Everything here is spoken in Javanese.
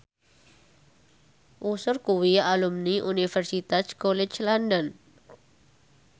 Usher kuwi alumni Universitas College London